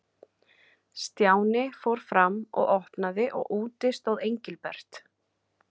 Stjáni fór fram og opnaði og úti stóð Engilbert.